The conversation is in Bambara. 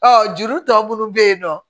juru tɔ munnu bɛ yen nɔ